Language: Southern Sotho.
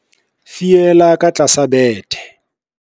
Fiela ka tlasa bethe.